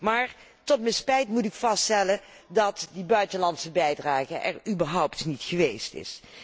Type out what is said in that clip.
Maar tot mijn spijt moet ik vaststellen dat die buitenlandse bijdrage er überhaupt niet geweest is.